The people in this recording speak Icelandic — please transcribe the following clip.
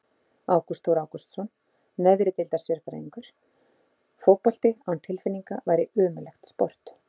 Ágúst Þór Ágústsson, neðri deildar sérfræðingur Fótbolti án tilfinninga væri ömurlegt sport.